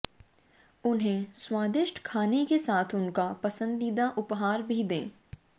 उन्हें स्वादिष्ट खाने के साथ उनका पसंदीदा उपहार भी दें